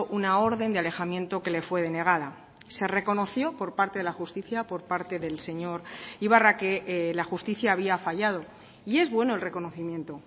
una orden de alejamiento que le fue denegada se reconoció por parte de la justicia por parte del señor ibarra que la justicia había fallado y es bueno el reconocimiento